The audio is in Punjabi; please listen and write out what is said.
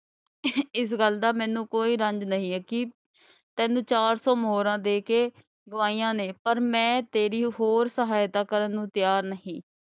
ਇਸ ਗੱਲ ਦਾ ਮੈਨੂੰ ਕੋਈ ਰੰਜ ਨਹੀਂ ਹੈ ਕਿ ਤੈਨੂੰ ਚਾਰ ਸੌ ਮੋਹਰਾਂ ਦੇ ਕੇ ਗੁਆਈਆਂ ਨੇ ਪਰ ਮੈਂ ਤੇਰੀ ਹੋਰ ਸਹਾਇਤਾ ਕਰਨ ਨੂੰ ਤਿਆਰ ਨਹੀਂ।